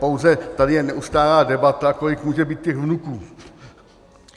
Pouze tady je neustálá debata, kolik může být těch vnuků.